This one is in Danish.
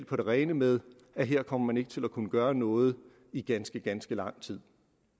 på det rene med at her kommer man ikke til at kunne gøre noget i ganske ganske lang tid